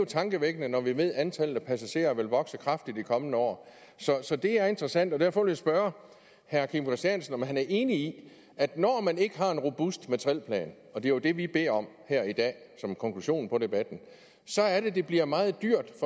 tankevækkende når vi ved at antallet af passagerer vil vokse kraftigt i de kommende år så det er interessant og derfor vil jeg spørge herre kim christiansen om han er enig i at når man ikke har en robust materielplan og det er jo det vi beder om her i dag som konklusion på debatten så er det det bliver meget dyrt